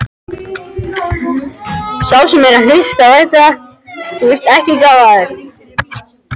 Og þó, líklega hugsaði ég alls ekki svona.